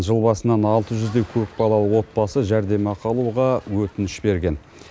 жыл басынан алты жүздей көпбалалы отбасы жәрдемақы алуға өтініш берген